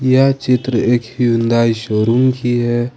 यह चित्र एक हुंडई शोरूम की है।